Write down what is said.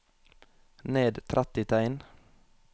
Ned tretti tegn